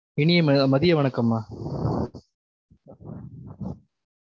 இனிய ம~ மதிய வணக்கம்மா